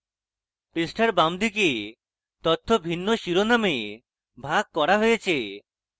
পৃষ্ঠার বাম দিকে তথ্য ভিন্ন শিরোনামে ভাগ করা হয়